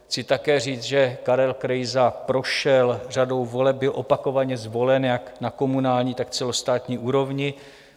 Chci také říct, že Karel Krejza prošel řadou voleb, byl opakovaně zvolen jak na komunální, tak celostátní úrovni.